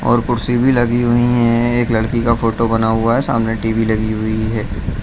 और कुर्सी भी लगी हुईं हैं एक लड़की का फोटो बना हुआ है सामने टी.वी. लगी हुई है।